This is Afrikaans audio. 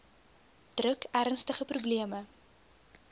druk ernstige probleme